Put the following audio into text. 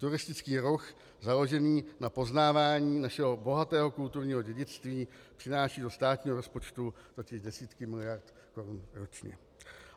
Turistický ruch založený na poznávání našeho bohatého kulturního dědictví přináší do státního rozpočtu totiž desítky miliard korun ročně.